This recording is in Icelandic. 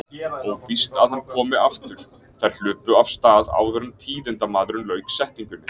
Óvíst að hann komi aftur. Þær hlupu af stað áður en tíðindamaðurinn lauk setningunni.